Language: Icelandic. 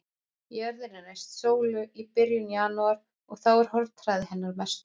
Jörðin er næst sólu í byrjun janúar og þá er hornhraði hennar mestur.